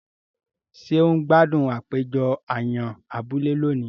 Ṣe o n gbádùn àpéjọ àyàn abúlé lóni?